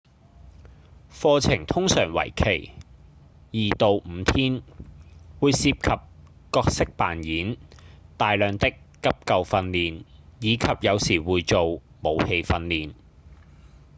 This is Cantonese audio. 課程通常為期2到5天會涉及角色扮演、大量的急救訓練以及有時會做武器訓練